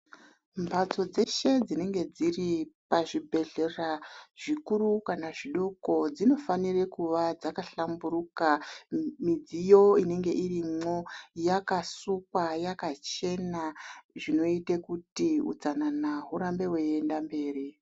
Mbatso dzeshe dzinenge dziri pazhibhedhlera zvikuru kana zvidoko dzinofanire kuva dzakahlamburuka , midziyo inenge irimwo yakasukwa yakachena zvinoite kuti utsanana urambe weienda mberi.